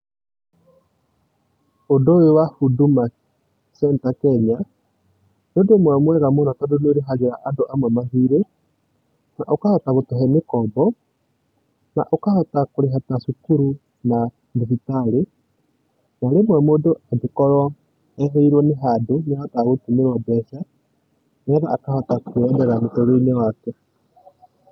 Ũndũ ũyũ wa Huduma Centre Kenya, nĩ ũndũ ũmwe mwega mũno tondũ nĩ ũrĩhagĩra andũ amwe mathirĩ, na ũkahota gũtũhe mĩkombo, na ũkahota kũrĩha ta cukuru, na thibitarĩ, na rĩmwe mũndũ angĩkorũo ehĩirũo nĩ handũ, nĩahotaga gũtũmĩrũo mbeca, nĩgetha akahota mũtũrĩre-inĩ wake.